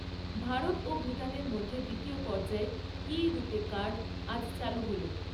ভারত ও ভুটানের মধ্যে দ্বিতীয় পর্যায়ে রূপে কার্ড, আজ চালু হল।